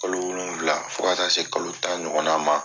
Kalo wolonwula fo ka se kalo tan ɲɔgɔnna ma.